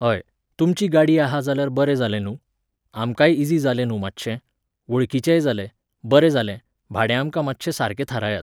हय, तुमची गाडी आहा जाल्यार बरें जालें न्हूं, आमकांय इझी जालें न्हू मात्शें, वळखीचेंय जालें, बरें जालें, भाडें आमकां मात्शें सारकें थारायात